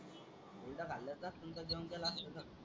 हुरडा खाल्ला असता तर जेवण केलं असता का?